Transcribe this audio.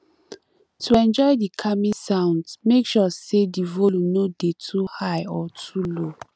to enjoy di calming sounds make sure say di volume no de too high or too low